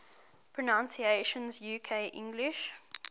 pronunciations uk english